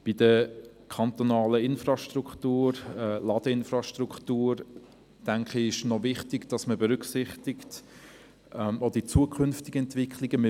Bei der kantonalen Ladeinfrastruktur ist wichtig, dass man auch die zukünftigen Entwicklungen berücksichtigt.